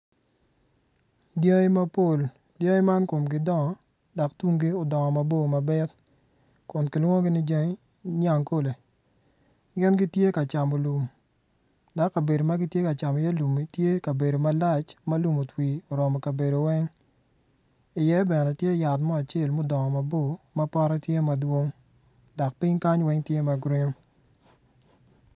Dyangi mapol dyangi ma komgi dongo dok tumgi odongo mabor mabit kun kilwongogi ni dyangi nyangkole gin gitye ka camo lum dok kabedo ma gitye ka camo iye lummi tye kabedo malac dok lum otwii oromo kabedo weny iye bene tye yat mo acel ma odongo mabor ma potte tye madwong dok piny kany weny tye ma gurin